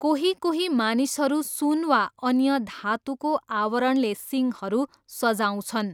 कोही कोही मानिसहरू सुन वा अन्य धातुको आवरणले सिङहरू सजाउँछन्।